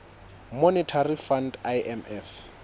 monetary fund imf